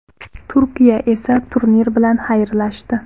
Turkiya esa turnir bilan xayrlashdi.